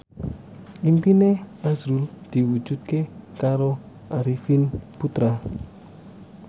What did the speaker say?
impine azrul diwujudke karo Arifin Putra